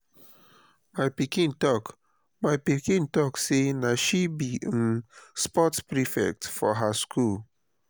my pikin talk my pikin talk sey na she be um sports prefect for her skool.